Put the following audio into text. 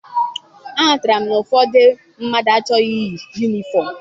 Aghọtara m na ụfọdụ mmadụ achọghị iyi yunifọm.